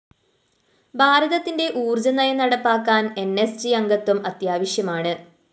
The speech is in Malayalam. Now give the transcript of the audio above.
ഭാരതത്തിന്റെ ഊര്‍ജ്ജ നയം നടപ്പാക്കാന്‍ ന്‌ സ്‌ ജി അംഗത്വം അത്യാവശ്യമാണ്